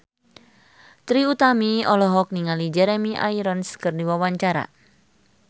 Trie Utami olohok ningali Jeremy Irons keur diwawancara